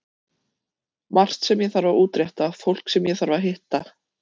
Margt sem ég þarf að útrétta, fólk sem ég þarf að hitta.